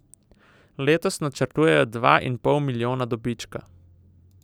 Letos načrtujejo dva in pol milijona dobička.